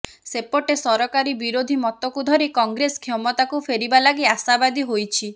ସେପଟେ ସରକାରୀ ବିରୋଧୀ ମତକୁ ଧରି କଂଗ୍ରେସ କ୍ଷମତାକୁ ଫେରିବା ଲାଗି ଆଶାବାଦୀ ହୋଇଛି